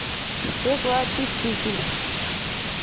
стеклоочиститель